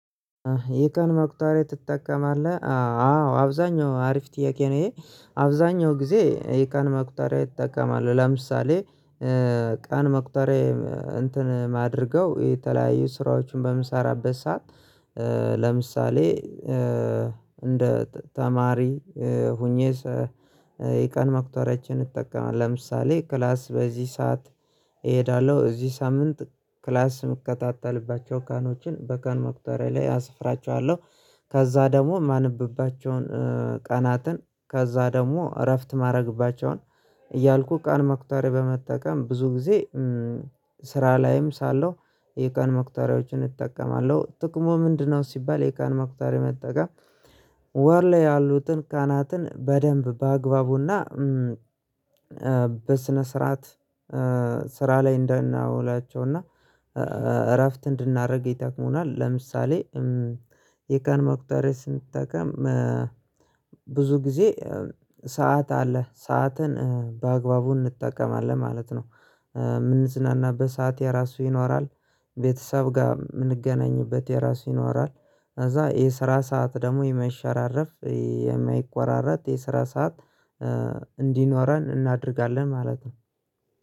"ይህ ቀን መቁጠሪያ ትጠቀማለህ?" አዎ፤ አብዛኛው አሪፍ ጥያቄ ነው ይህ፤ አብዛኛውን ጊዜ ይህ ቀን መቁጠሪያ ይጠቀማል ለምሳሌ ቀን መቁጠሪያ እንትን የማደርገው የተለያዩ ስራዎችን ለምሰራበት ሰዓት ለምሳሌ እንደ ተማሪ ሆኜ የቀን መቁጠሪያችን እጠቀማለሁ ለምሳሌ ክላስ በዚህ ሰዓት እሄዳለሁ፤ በዚህ ሳምንት ክላስ የምከታተልባቸውን ቀኖችን በቀን መቁጠሪያ ላይ አስፍራቸዋለሁ፤ ከዚያ ደግሞ የማነብባቸውን ቀናት፣ ከዚያ ደግሞ እረፍት የማደርግባቸውን እያልኩ ቀን መቁጠሪያ በመጠቀም ብዙ ጊዜ ስራ ላይም ሳለሁ የቀን መቁጠሪያዎችን እጠቀማለሁ፤ ጥቅሙ ምንድን ነው ሲባል የቀን መቁጠሪያ መጠቀም በወር ላይ ያሉትን ቀናትን በደንብ በአግባቡና በስነ ስርዓት ስራ ላይ እንድናውላቸው እና እረፍት እንድናደርግ ይጠቅሙናል፤ ለምሳሌ የቀን መቁጠሪያ ስንጠቀም ብዙ ጊዜ ሰዓት አለ፤ ሰዓትን በአግባቡ እንጠቀማለን ማለት ነው፤ የምንዝናናበት ሰዓት የራሱ ይኖራል፤ ከቤተሰብ ጋር የምንገናኝበት የራሱ ይኖራል፤ ከዚያ ይህ የስራ ሰዓት ደግሞ የማይሸራረፍ፣ የማይቆራረጥ የስራ ሰዓት እንዲኖረን እናደርጋለን ማለት ነው።